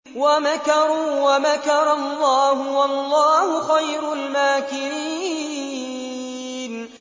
وَمَكَرُوا وَمَكَرَ اللَّهُ ۖ وَاللَّهُ خَيْرُ الْمَاكِرِينَ